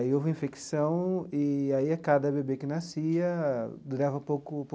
Aí houve infecção e aí a cada bebê que nascia durava pouco pouco.